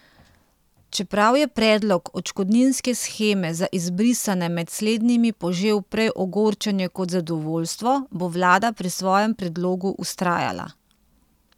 Čeprav je predlog odškodninske sheme za izbrisane med slednjimi požel prej ogorčenje kot zadovoljstvo, bo vlada pri svojem predlogu vztrajala.